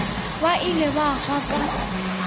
ba ilego ba hwa ka